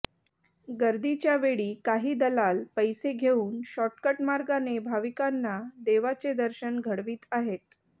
गर्दीच्या वेळी काही दलाल पैसे घेऊन शॉर्टकट मार्गाने भाविकांना देवाचे दर्शन घडवीत आहेत